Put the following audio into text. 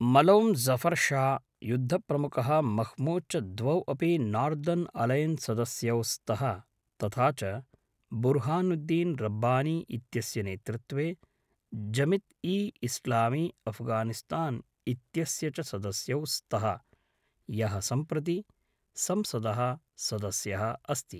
मलों ज़फर् शाह्, युद्धप्रमुखः मह्मूद् च द्वौ अपि नार्दर्न् अलैयन्स् सदस्यौ स्तः तथा च बुर्हानुद्दीन् रब्बानी इत्यस्य नेतृत्वे जमित् ई इस्लामी अफ्गानिस्तान् इत्यस्य च सदस्यौ स्तः, यः सम्प्रति संसदः सदस्यः अस्ति।